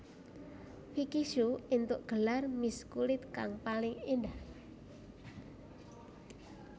Vicky Shu éntuk gelar Miss kulit kang paling endah